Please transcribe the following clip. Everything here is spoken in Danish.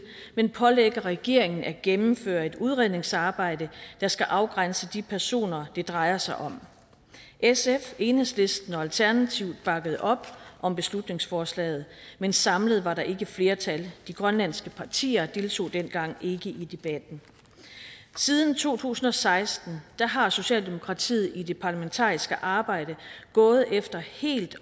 men pålægger regeringen at gennemføre et udredningsarbejde der skal afgrænse de personer det drejer sig om sf enhedslisten og alternativet bakkede op om beslutningsforslaget men samlet var der ikke flertal de grønlandske partier deltog dengang ikke i debatten siden to tusind og seksten har socialdemokratiet i det parlamentariske arbejde gået efter helt